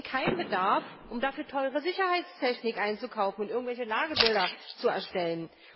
Wir sehen keinen Bedarf, um dafür teure Sicherheitstechnik einzukaufen und irgendwelche Lagebilder zu erstellen.